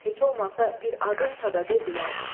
Heç olmasa bir adınsa da de bilək.